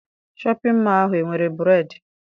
Shọpịn mọọ ahụ enwere bureedị?